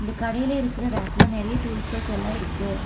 கடையில இருக்குற ரேக்குல நெறையா டூல்ஸ்கள்ஸ் எல்லா இருக்கு.